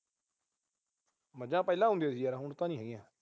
ਮੱਝਾਂ ਪਹਿਲਾਂ ਹੁੰਦੀਆਂ ਸੀਗੀਆਂ ਯਾਰ, ਹੁਣ ਤਾਂ ਨੀ ਹੈਗੀਆਂ।